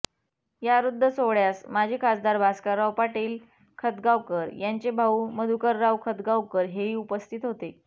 या हृद्य सोहळ्यास माजी खासदार भास्करराव पाटील खतगावकर यांचे भाऊ मधुकरराव खतगावकर हेही उपस्थित होते